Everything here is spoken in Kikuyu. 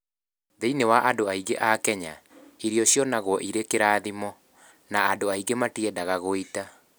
Thĩinĩ wa andũ aingĩ a Kenya, irio cionagwo irĩ kĩrathimo, na andũ matiendaga gũita.